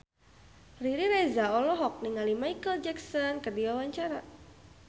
Riri Reza olohok ningali Micheal Jackson keur diwawancara